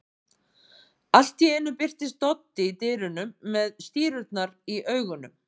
Allt í einu birtist Doddi í dyrunum með stírurnar í augunum.